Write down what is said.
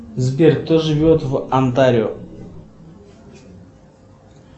сбер кто живет в антарио